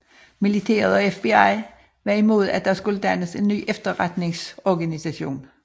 Militæret og FBI var imod at der skulle dannes en ny efterretningsorganisation